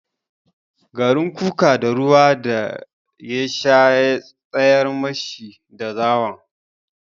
Garin kuka da ruwa da ya sha ya tsayar mashi da zawon.